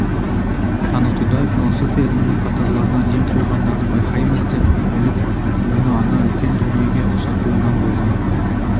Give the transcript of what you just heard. танытуда философия ілімінің қатарларына ден қойғандарын байқаймыз деп біліп оны ана үлкен дүниеге ұқсатуынан болған